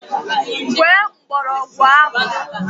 Gwee mgbọrọgwụ ahụ!